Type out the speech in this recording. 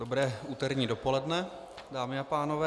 Dobré úterní dopoledne, dámy a pánové.